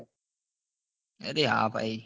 અરે હા ભાઈ